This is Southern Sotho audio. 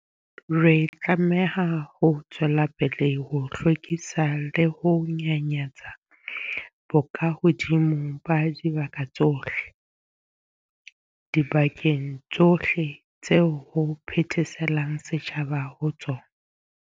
Re tlameha ho tswela pele ho hlwekisa le ho nyanyatsa bokahodimo ba dibaka tsohle, dibakeng tsohle tseo ho phetheselang setjhaba ho tsona.